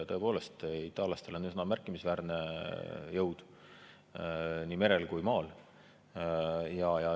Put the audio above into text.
Tõepoolest, itaallastel on üsna märkimisväärne jõud nii merel kui ka maal.